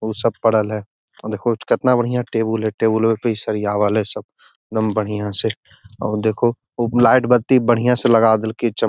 उ सब पढ़ल है देखो केतना बढ़िया टैबुल है टेबुलवे पर इ सरयावल है सब एकदम बढ़िया से और देखो ऊ लाइट बत्ती बढ़िया से लगा देलके चम --